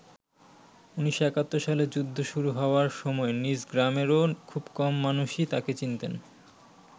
১৯৭১ সালে যুদ্ধ শুরু হওয়ার সময় নিজ গ্রামেরও খুব কম মানুষই তাকে চিনতেন।